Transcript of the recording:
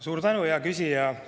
Suur tänu, hea küsija!